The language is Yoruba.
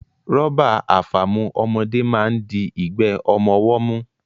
Rọ́bà àfàmu ọmọdé máa ń di igbe ọmọ ọwọ́ mú